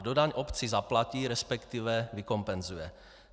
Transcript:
Kdo daň obci zaplatí, respektive vykompenzuje?